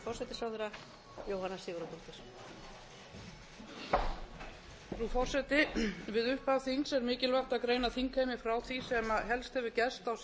frú forseti við upphaf þings er mikilvægt að greina þingheimi frá því sem helst hefur gerst á síðustu